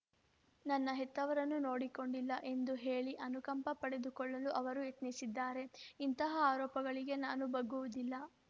ನನ್ನ ಹೆತ್ತವರನ್ನು ನೋಡಿಕೊಂಡಿಲ್ಲ ಎಂದು ಹೇಳಿ ಅನುಕಂಪ ಪಡೆದುಕೊಳ್ಳಲು ಅವರು ಯತ್ನಿಸಿದ್ದಾರೆ ಇಂತಹ ಆರೋಪಗಳಿಗೆ ನಾನು ಬಗ್ಗುವುದಿಲ್ಲ